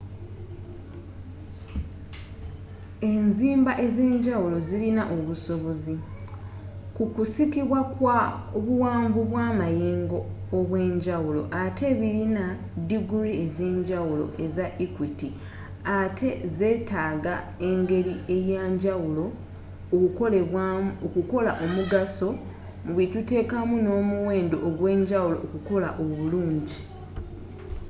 enzimba ezenjawulo zilina obusobozi, kukusikibwa kwa buwanvu bwa mayengo obwenjawulo atte bilina diguri ezenjawulo eza equiti atte zetaga engeli eyanjawulo okukolebwamu okukola omugaso mu byetutekamu no'muwendo ogwenjawulo okukola obulungi